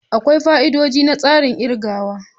Akwai fa'idodi na tsarin kirgawa.